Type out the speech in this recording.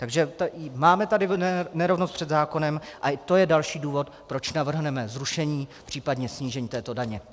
Takže máme tady nerovnost před zákonem a to je další důvod, proč navrhneme zrušení, případně snížení této daně.